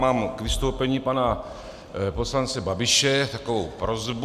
Mám k vystoupení pana poslance Babiše takovou prosbu.